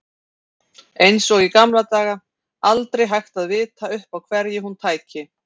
Eins og í gamla daga, aldrei hægt að vita upp á hverju hún tæki.